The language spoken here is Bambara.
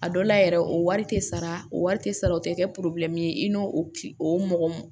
A dɔ la yɛrɛ o wari tɛ sara o wari tɛ sara o tɛ kɛ ye i n'o mɔgɔ